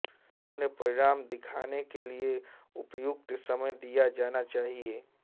उन्हें परिणाम दिखाने के लिए उपयुक्त समय दिया जाना चाहिए